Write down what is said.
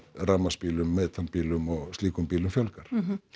rafmagnsbílum metanbílum og slíkum bílum fjölgar